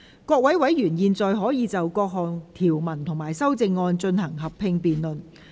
各位委員現在可以就各項條文及修正案，進行合併辯論。